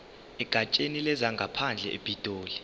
egatsheni lezangaphandle epitoli